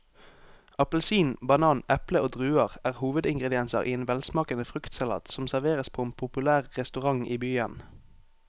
Appelsin, banan, eple og druer er hovedingredienser i en velsmakende fruktsalat som serveres på en populær restaurant i byen.